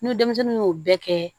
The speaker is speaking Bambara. Ni denmisɛnnin y'o bɛɛ kɛ